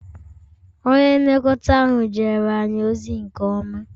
Onye nlekọta ahụ jere anyị ozi nke ọma